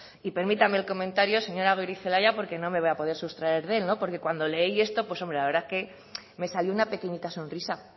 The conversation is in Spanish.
y permítame el comentario señora goirizelaia porque no me voy a poder sustraer de él porque cuando leí esto pues la verdad es que me salió una pequeñita sonrisa